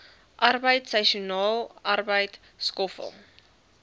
arbeid seisoensarbeid skoffel